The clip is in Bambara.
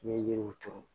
N'i ye yiriw turu